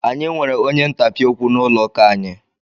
Anyị nwere onye ntapị okwu n'ụlọ ụka anyị.